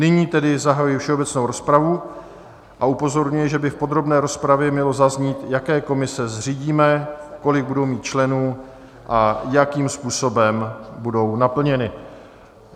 Nyní tedy zahajuji všeobecnou rozpravu a upozorňuji, že by v podrobné rozpravě mělo zaznít, jaké komise zřídíme, kolik budou mít členů a jakým způsobem budou naplněny.